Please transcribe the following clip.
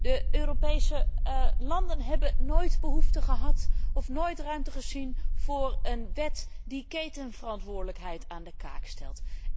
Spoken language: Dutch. De Europese landen hebben nooit behoefte gehad of nooit ruimte gezien voor een wet die ketenverantwoordelijkheid aan de kaak stelt.